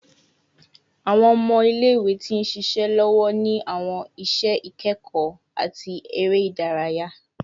Awọn ọmọ ile-iwe ti nṣiṣe lọwọ ni awọn iṣẹ ikẹkọ ati ere idaraya